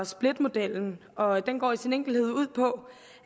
splitmodellen og den går i sin enkelhed ud på